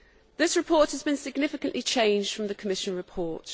This report has been significantly changed from the Commission report.